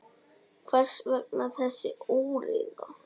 Hvers vegna þessi óreiða?